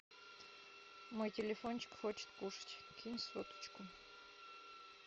мой телефончик хочет кушать кинь соточку